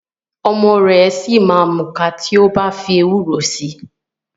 Ọmọ ẹ̀ ṣì ma múka tí o bá fi ewúro si.